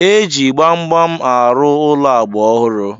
E ji gbamgbam arụ ụlọ agba ọhụrụ.